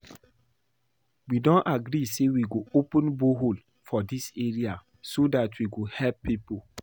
We don agree say we go open borehole for dis area so dat we go help people